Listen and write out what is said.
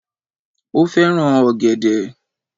Ó fẹ́ràn ògẹ̀dẹ̀